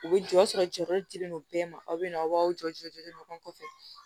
U bɛ jɔ o y'a sɔrɔ jɔyɔrɔ dilen don bɛɛ ma aw bɛ na aw jɔ jɔlen do ɲɔgɔn fɛ